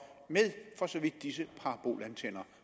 for så vidt disse parabolantenner